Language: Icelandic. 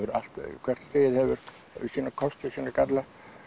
hvert skeið hefur sína kosti og sína galla